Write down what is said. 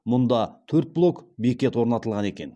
мұнда төрт блок бекет орнатылған екен